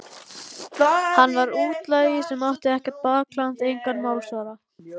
Hann var útlagi sem átti ekkert bakland, engan málsvara.